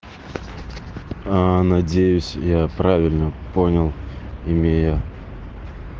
аа надеюсь я правильно понял имея